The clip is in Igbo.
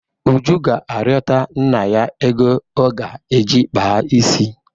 Uju ga-arịọta nna ya ego ọ ga-eji kpaa isi.